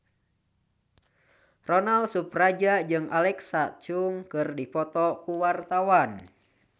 Ronal Surapradja jeung Alexa Chung keur dipoto ku wartawan